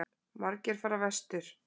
Margir fara vestur